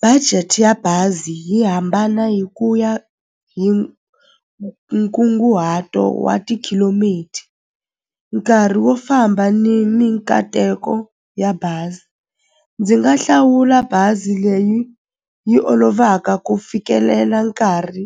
Budget ya bazi yi hambana hi ku ya hi nkunguhato wa nkarhi wo famba ni ni nkateko ya bazi ndzi nga hlawula bazi leyi yi olovaka ku fikelela nkarhi